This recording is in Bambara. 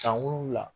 San wolola